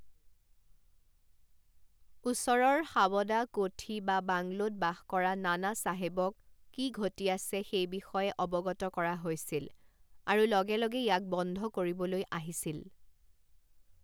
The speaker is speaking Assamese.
ওচৰৰ সাৱদা কোঠী বা বাংলোত বাস কৰা নানা চাহেবক কি ঘটি আছে সেই বিষয়ে অৱগত কৰা হৈছিল আৰু লগে লগে ইয়াক বন্ধ কৰিবলৈ আহিছিল।